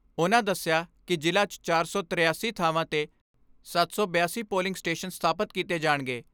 ਉਨ੍ਹਾਂ ਦਸਿਆ ਕਿ ਜ਼ਿਲ੍ਹਾ 'ਚ ਚਾਰ ਸੌ ਤੀਰਾਸੀ ਥਾਵਾਂ 'ਤੇ ਸੱਤ ਸੌ ਬਿਆਸੀ ਪੋਲਿੰਗ ਸਟੇਸ਼ਨ ਸਥਾਪਤ ਕੀਤੇ ਜਾਣਗੇ।